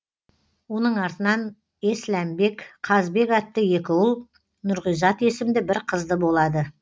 оның артынан есләмбек қазбек атты екі ұл нұрғизат есімді бір қызды болады